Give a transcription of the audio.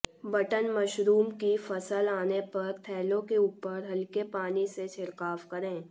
button mushroom की फसल आने पर थैलों के ऊपर हल्के पानी से छिड़काव करें